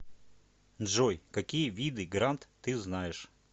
джой какие виды грант ты знаешь